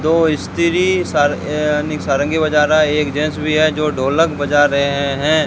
दो स्त्री सार अं नही सारंगी बजा रहा है एक जेंट्स भी है जो ढोलक बजा रहे हैं।